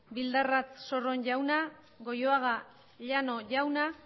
bildarratz sorron jauna goioaga llano jauna